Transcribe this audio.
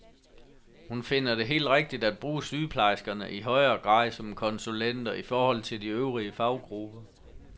Hun finder det helt rigtigt at bruge sygeplejerskerne i højere grad som konsulenter i forhold til de øvrige faggrupper.